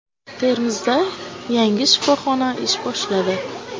Termizda yangi shifoxona ish boshladi.